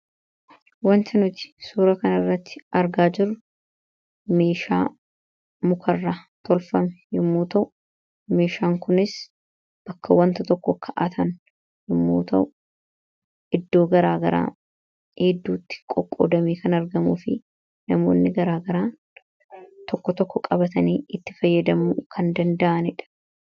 wanta nuti suura kan irratti argaa jiru meeshaa mukarraa tolfame yommuota'u meeshaan kunis bakka wanta tokko ka'aatan yomuuta'u iddoo garaa garaa gidduutti qoqqoodamee kan argamuu fi namoonni garaa garaa tokko tokko qabatanii itti fayyadamuu kan danda'anidha